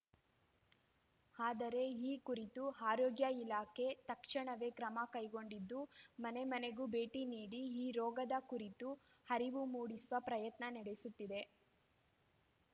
ಆದರೆ ಈ ಕುರಿತು ಆರೋಗ್ಯ ಇಲಾಖೆ ತಕ್ಷಣವೇ ಕ್ರಮ ಕೈಗೊಂಡಿದ್ದು ಮನೆಮನೆಗೂ ಭೇಟಿ ನೀಡಿ ಈ ರೋಗದ ಕುರಿತು ಅರಿವು ಮೂಡಿಸುವ ಪ್ರಯತ್ನ ನಡೆಸುತ್ತಿದೆ